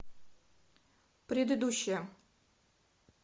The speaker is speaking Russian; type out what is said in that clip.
предыдущая